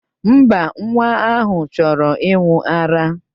Mba, nwa ahụ chọrọ ịṅụ ara.